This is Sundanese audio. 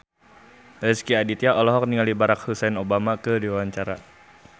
Rezky Aditya olohok ningali Barack Hussein Obama keur diwawancara